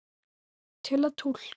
Til að túlka